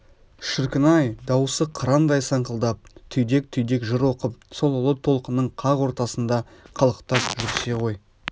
шіркін-ай дауысы қырандай саңқылдап түйдек-түйдек жыр оқып сол ұлы толқынның қақ ортасында қалықтап жүрсе ғой